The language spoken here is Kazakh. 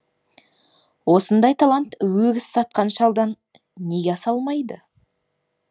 осындай талант өгіз сатқан шалдан неге аса алмайды